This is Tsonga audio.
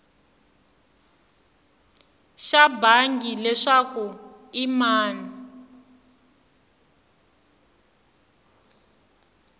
xa bangi leswaku i mani